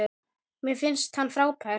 Mér finnst hann frábær.